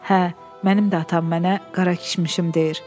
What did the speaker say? Hə, mənim də atam mənə qara kişmişim deyir.